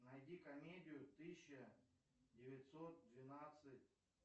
найди комедию тысяча девятьсот двенадцать